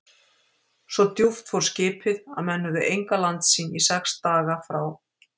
Svo djúpt fór skipið, að menn höfðu enga landsýn í sex daga frá